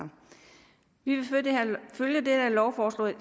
vi vil følge det her lovforslag